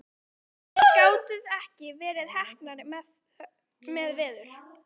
Hörður, þið gátuð ekki verið heppnari með veður?